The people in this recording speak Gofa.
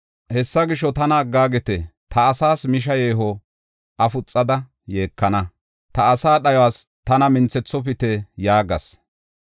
Hessa gisho, “Tana aggaagite; ta asaas misha yeeho afuxada yeekana; ta asaa dhayuwas tana minthethopite” yaagas.